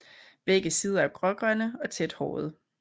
Begge sider er grågrønne og tæt hårede